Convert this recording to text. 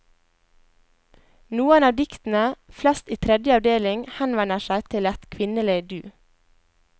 Noen av diktene, flest i tredje avdeling, henvender seg til et kvinnelig du.